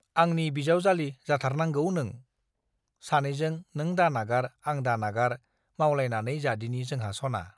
आंनि बिजाउजाली जाथारनांगौ नों , सानैजों नों दानागार आं दानागार मावलायनानै जादिनि जोंहा सना ।